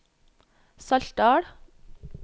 Saltdal